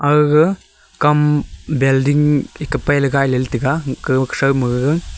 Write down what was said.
aaga kam balding eka pai .]